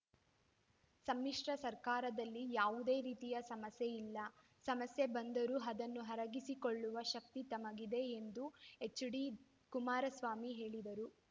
ಸಮ್ಮಿಶ್ರ ಸರ್ಕಾರದಲ್ಲಿ ಯಾವುದೇ ರೀತಿಯ ಸಮಸ್ಯೆ ಇಲ್ಲ ಸಮಸ್ಯೆ ಬಂದರೂ ಅದನ್ನು ಅರಗಿಸಿಕೊಳ್ಳುವ ಶಕ್ತಿ ತಮಗಿದೆ ಎಂದು ಎಚ್‌ಡಿಕುಮಾರಸ್ವಾಮಿ ಹೇಳಿದರು